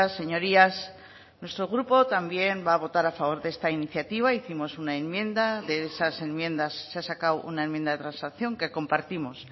señorías nuestro grupo también va a votar a favor de esta iniciativa hicimos una enmienda de esas enmiendas se ha sacado una enmienda de transacción que compartimos